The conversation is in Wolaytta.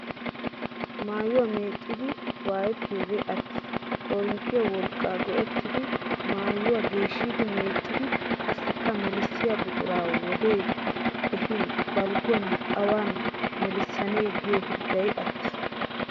Mayyuwaa meecciiddi waayettiyoogee attis. Koorinttiya wolqqaa go"ettidi mayyuwa geeshshidi meeccidi qassikka melissiya buquraa wodee ehin balgguwan awan melissanee giyo hirggay attis.